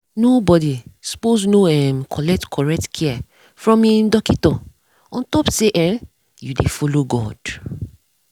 nor bodi sppose nor um collect correct care from um dockito ontop say erm u dey follow god.